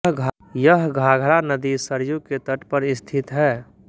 यह घाघरा नदी सरयू के तट पर स्थित है